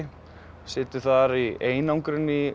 situr þar í einangrun um